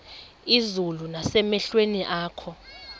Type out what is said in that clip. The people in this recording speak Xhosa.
izulu nasemehlweni akho